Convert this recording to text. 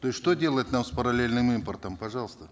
то есть что делать нам с параллельным импортом пожалуйста